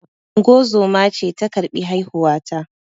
Ungozoma ce ta karbi haihuwa ta